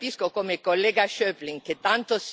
Io credo che questo sia il momento.